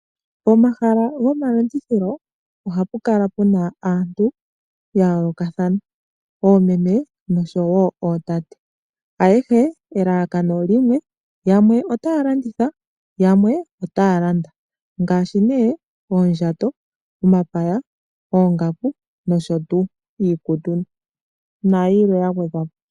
Pomahala gomalandithilo ohapu kala pu na aantu ya yoolokathana, oomeme, nosho wo ootate. Ayehe, elalakano limwe, yamwe otaya landitha, yamwe otaya landa. Ngaashi oondjato, omapaya, oongaku nosho tuu, iikutu, nayilwe ya gwedhwa po.